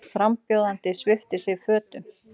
Frambjóðandi sviptir sig fötum